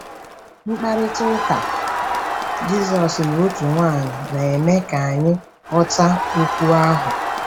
Mkparịta ụka Jizọs na otu nwanyị na-eme ka anyị ghọta okwu ahụ.